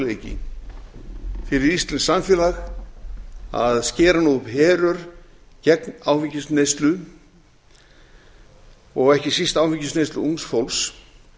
fjárfestingarmöguleiki fyrir íslenskt samfélag að skera nú upp herör gegn áfengisneyslu og ekki síst áfengisneyslu ungs fólks